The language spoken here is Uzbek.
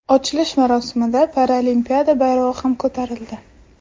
Ochilish marosimida Paralimpiada bayrog‘i ham ko‘tarildi.